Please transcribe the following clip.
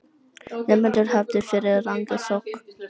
Nemendur hafðir fyrir rangri sök